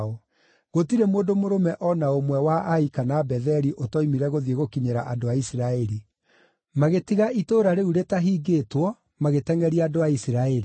Gũtirĩ mũndũ mũrũme o na ũmwe wa Ai kana Betheli ũtoimire gũthiĩ gũkinyĩra andũ a Isiraeli. Magĩtiga itũũra rĩu rĩtaahingĩtwo magĩtengʼeria andũ a Isiraeli.